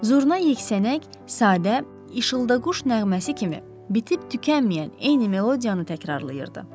Zurna yeksənək, sadə, işıldaquş nəğməsi kimi bitib tükənməyən eyni melodiyanı təkrarlayırdı.